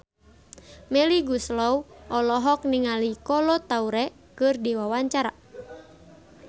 Melly Goeslaw olohok ningali Kolo Taure keur diwawancara